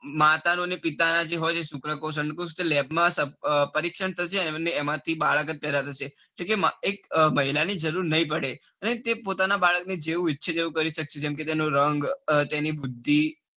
માતાનો અને પિતાના જે હોય છે શુક્રકોષ અંડકોષ ત lab માં પરીક્ષણ થશે અને એમાં થી બાળક જ પેદા થશે. તેથી એક બૈરાં ની જરૂર નઈ પડે. અને તે પોતાના બાળક ને જેઉ ઈચ્છે તેવું કરી sex જેમ કે તેનો રંગ તેની બુદ્ધિ